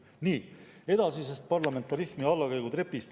Nii, edasisest parlamentarismi allakäigutrepist …